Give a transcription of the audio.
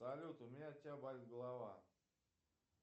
салют у меня от тебя болит голова